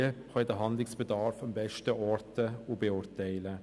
Diese können den Handlungsbedarf am besten orten und beurteilen.